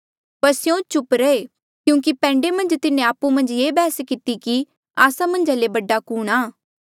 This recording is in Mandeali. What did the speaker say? पर स्यों चुप रहे क्यूंकि पैंडे मन्झ तिन्हें आपु मन्झ ये बैहस किती थी कि आस्सा मन्झा ले बडा कुणहां